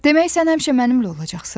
Demək sən həmişə mənimlə olacaqsan?